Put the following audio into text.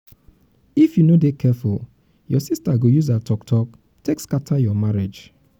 if you no dey um careful you um sista go use her talk talk take scatter your marriage.